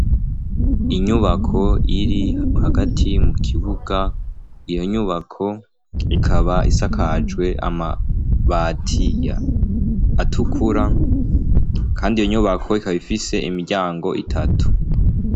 Inyubako iri hagati mu kibuga iyo nyubako ikaba isakajwe amabati atukura kandi iyo nyubako ikaba ifise imiryango itatu.